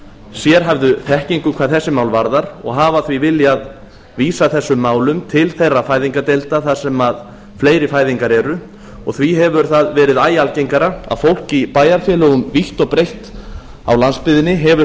sérhæfðu þekkingu hvað þessi mál varðar og hafa því viljað vísa þessum málum til þeirra fæðingardeild þar sem fleiri fæðingar eru og því hefur það verið æ algengara að fólk í bæjarfélögum vítt og breitt á landsbyggðinni hefur